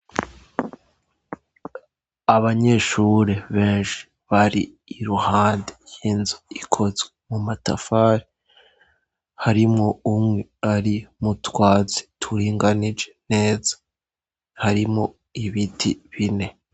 Abanyeshure benshi bari iruhande y'inzu ikozwe mu matafari. Harimwo umwe ari mutwatsi turinganije neza harimwo ibiti bine.